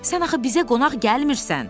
Sən axı bizə qonaq gəlmirsən.